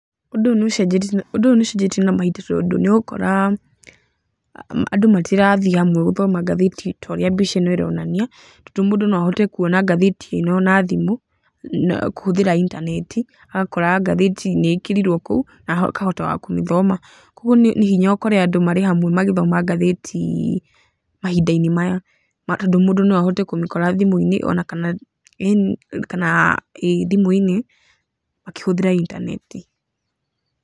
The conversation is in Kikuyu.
Ũndũ ũyũ nĩ ũcenjetie na mahinda tondũ nĩ ũgũkora andũ matirathiĩ hamwe gũthoma ngatheti ta ũrĩa mbica ĩno ĩronania, tondũ mũndũ no ahote gũthoma ngatheti ĩno na thimũ, kũhũthĩra intaneti, agakora ngatheti nĩ ĩkĩrirwo kou, na akahota wa kũmĩthoma, koguo nĩ hinya ũkore andũ marĩ hamwe magĩthoma ngatheti mahinda-inĩ maya tondũ mũndũ nĩ akũhota kũmĩkora thimũ-inĩ o na kana, kana thimũ-inĩ makĩhũthĩra intaneti.